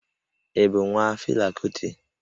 Ị bụ nwa Fela Kuti?